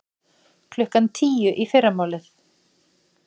Klukkan tíu í fyrramálið?